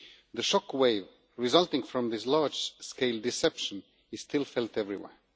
The shock wave resulting from this large scale deception is still felt everywhere.